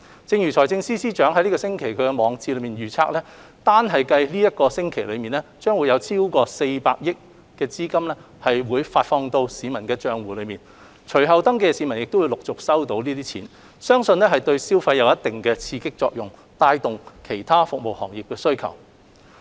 正如財政司司長本星期在網誌中預期，單計本周便將有超過400億元資金發放到市民的帳戶，隨後登記的市民亦會陸續收到資金，相信對消費有一定的刺激作用，帶動對其他服務行業的需求。